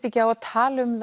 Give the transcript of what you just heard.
ekki á að tala um